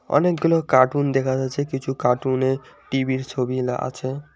অনেকগুলো কার্টুন দেখা যাচ্ছে কিছু কার্টুনে টিভির ছবি না আছে।